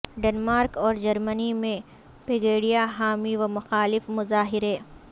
Denmark اور Germany میں Pegida حامی و مخالف مظاہرے